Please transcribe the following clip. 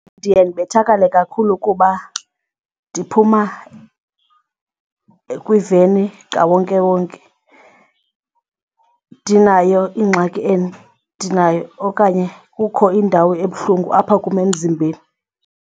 Ndiye ndibethakale kakhulu kuba ndiphuma kwiveni kawonkewonke ndinayo ingxaki endinayo okanye kukho indawo ebuhlungu apha kum emzimbeni.